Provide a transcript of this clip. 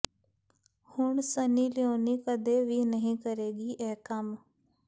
ਹੁਣ Sunny Leone ਕਦੇ ਵੀ ਨਹੀਂ ਕਰੇਗੀ ਇਹ ਕੰਮ